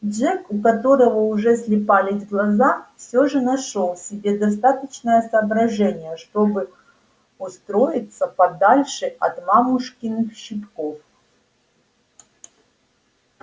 джек у которого уже слипались глаза всё же нашёл в себе достаточно соображения чтобы устроиться подальше от мамушкиных щипков